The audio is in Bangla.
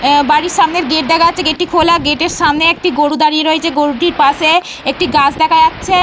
বাড়ির সামনে গেট দেখা যাচ্ছে। গেটটি খোলা। গেটের সামনে একটি গরু দাঁড়িয়ে রয়েছে। গরুটির পাশে একটি গাছ দেখা যাচ্ছে।